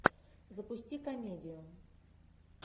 запусти комедию